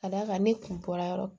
Ka da kan ne kun bɔra yɔrɔ